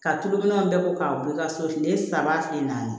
Ka tulu minɛnw bɛɛ bɔ k'a bɔ i ka so kile saba kile naani